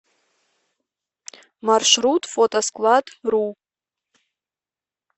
маршрут фотоскладру